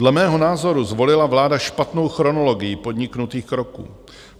Dle mého názoru zvolila vláda špatnou chronologii podniknutých kroků.